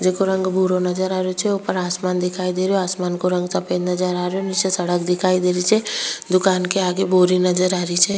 जेको रंग भूरो नजर आ रेयो छे ऊपर आसमान दिखाई दे रेयो आसमान को रंग सफ़ेद नजर आ रेयो नीचे सड़क दिखाई दे रही छे दुकान के आगे बोरी नज़र आरी छे।